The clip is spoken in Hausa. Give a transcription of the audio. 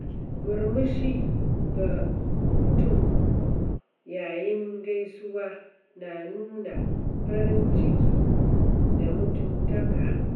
Murmushi ga mutum yayin gaisuwa na nuna farin ciki da mutuntaka.